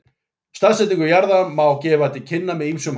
Staðsetningu jarðar má gefa til kynna með ýmsum hætti.